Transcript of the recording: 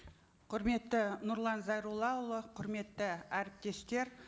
құрметті нұрлан зайроллаұлы құрметті әріптестер